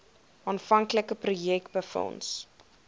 aanvanklike projek befonds